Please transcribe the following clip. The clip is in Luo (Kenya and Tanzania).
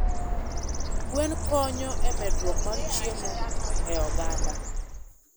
Gwen konyo e medruok mar chiemo e oganda